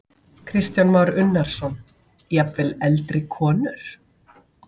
Kristján Már Unnarsson: Jafnvel eldri konur?